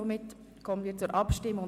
Somit kommen wir zur Abstimmung.